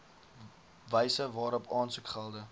wyse waarop aansoekgelde